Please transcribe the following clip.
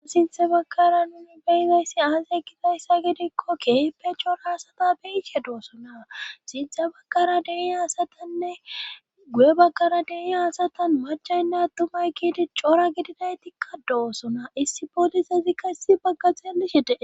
Sinthe bagkara nuni beyizayssi aasa ekizayssa gidikko keeppe cora asata beyishe doosona sinthe bagkara dei asatanne guye baggara dei asatan machaynna ttumay kiidi cora gidinaytikka doosona issi poolisezikka issi baggaxelishete